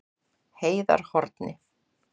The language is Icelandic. Heiðarhorni